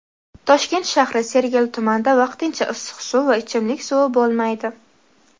Toshkent shahri Sergeli tumanida vaqtincha issiq suv va ichimlik suvi bo‘lmaydi.